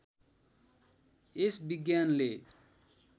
यस विज्ञानले